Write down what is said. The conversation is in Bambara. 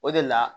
O de la